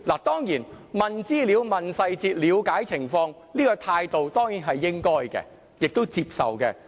當然，詢問資料、詢問細節、了解情況，這種態度是應該的，亦都應被接受。